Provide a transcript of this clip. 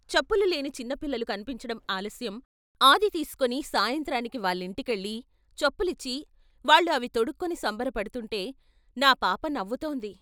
చెప్పులు లేని చిన్నపిల్లలు కన్పించటం ఆలస్యం ఆది తీసుకుని సాయంత్రానికి వాళ్ళింటికెళ్ళి చెప్పులిచ్చి వాళ్ళు అవి తొడుక్కుని సంబరపడుతుంటే నా పాప నవ్వుతోంది.....